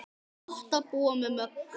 Gott að búa með Möggu.